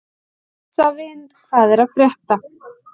Jósavin, hvað er að frétta?